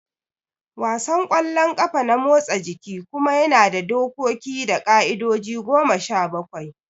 Wasan kwallon ƙafa na motsa jiki kuma yana da dokoki da ƙa'idoji goma sha bakwai